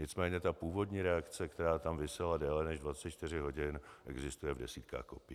Nicméně ta původní reakce, která tam visela déle než 24 hodin, existuje v desítkách kopií.